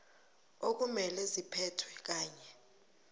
okumele ziphethwe kanye